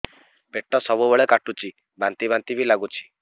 ପେଟ ସବୁବେଳେ କାଟୁଚି ବାନ୍ତି ବାନ୍ତି ବି ଲାଗୁଛି